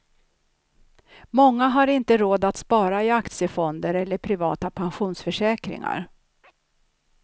Många har inte råd att spara i aktiefonder eller privata pensionsförsäkringar.